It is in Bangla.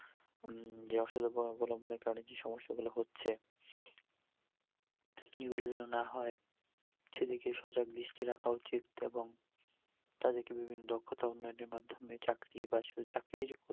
উম যে অসৎ উপায় অবলম্বন এর কারণে যে সমস্যা গুলো হচ্ছে এগুলো যেন না হয় সেদিকে সজাগ দৃষ্টি রাখা উচিৎ এবং তাদেরকে বিভিন্ন দক্ষাতা উন্নয়ন এর মাধ্যমে চাকরি বা শুধু চাকরি ই